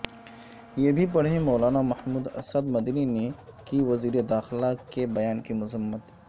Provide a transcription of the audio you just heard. یہ بھی پڑھیں مولانا محمود اسعد مدنی نےکی وزیر داخلہ کے بیان کی مذمت